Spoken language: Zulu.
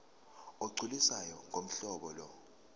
olugculisayo ngohlobo lo